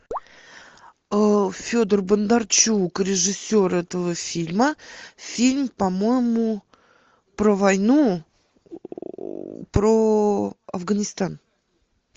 федор бондарчук режиссер этого фильма фильм по моему про войну про афганистан